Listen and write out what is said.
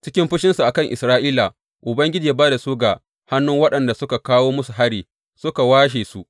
Cikin fushinsa a kan Isra’ila Ubangiji ya ba da su ga hannun waɗanda suka kawo musu hari suka washe su.